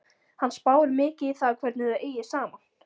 Hann spáir mikið í það hvernig þau eigi saman.